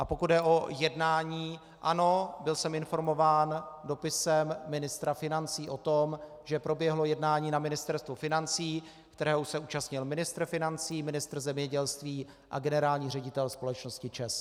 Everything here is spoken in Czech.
A pokud jde o jednání, ano, byl jsem informován dopisem ministra financí o tom, že proběhlo jednání na Ministerstvu financí, kterého se účastnil ministr financí, ministr zemědělství a generální ředitel společnosti ČEZ.